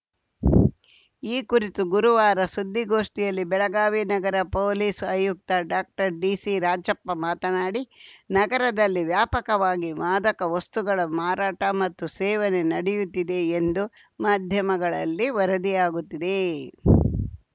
ಈ ಕುರಿತು ಗುರುವಾರ ಸುದ್ದಿಗೋಷ್ಠಿಯಲ್ಲಿ ಬೆಳಗಾವಿ ನಗರ ಪೊಲೀಸ್‌ ಆಯುಕ್ತ ಡಾಕ್ಟರ್ಡಿಸಿರಾಜಪ್ಪ ಮಾತನಾಡಿ ನಗರದಲ್ಲಿ ವ್ಯಾಪಕವಾಗಿ ಮಾದಕ ವಸ್ತುಗಳ ಮಾರಾಟ ಮತ್ತು ಸೇವನೆ ನಡೆಯುತ್ತಿದೆ ಎಂದು ಮಾಧ್ಯಮಗಳಲ್ಲಿ ವರದಿಯಾಗುತ್ತಿದೆ